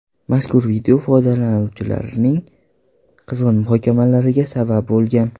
Mazkur video foydalanuvchilarning qizg‘in muhokamalariga sabab bo‘lgan.